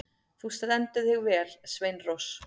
Þú stendur þig vel, Sveinrós!